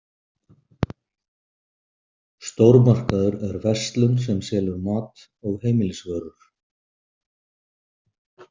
Stórmarkaður er verslun sem selur mat og heimilisvörur.